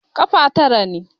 Ƙafa tara ne.